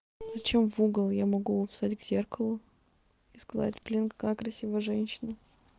зачем в угол я могу стать к зеркалу и сказать блин какая я красивая женщина